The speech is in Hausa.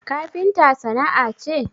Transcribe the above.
Kafinta sana'a ce?